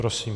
Prosím.